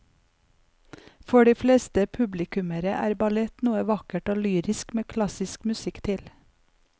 For de fleste publikummere er ballett noe vakkert og lyrisk med klassisk musikk til.